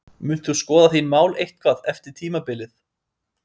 Munt þú skoða þín mál eitthvað eftir tímabilið?